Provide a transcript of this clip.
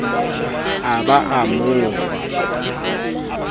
a ba a mo fa